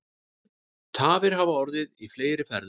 Tafir hafa orðið í fleiri ferðum